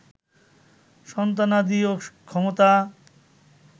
সন্তানাদি ও ক্ষমতা